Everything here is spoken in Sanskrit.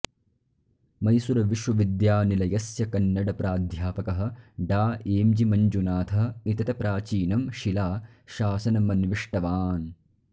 मैसूरुविश्वविद्यानिलयस्य कन्नड प्राध्यापकः डा एम्जि मञ्जुनाथः एतत्प्राचीनं शिला शासनमन्विष्टवान्